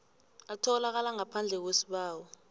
atholakala ngaphandle kwesibawo